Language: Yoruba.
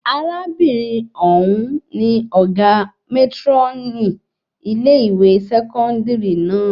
Arábìnrin òun ní ọgá mátrónì ilé-ìwé sẹkọndiri náà